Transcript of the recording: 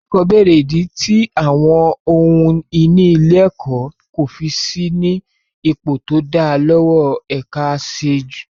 Ilé-ẹ̀kọ́ bèrè ìdí tí àwọn ohun ìní ilé-ẹ̀kọ́ kò fi sí ní ipò tó dáa lọ́wọ́ ẹ̀ka aṣètójú.